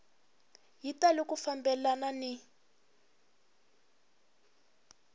yi tali ku fambelana ni